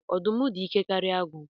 Ọdụm dị ike karịa agụ